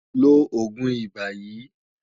Lo oogun iba yii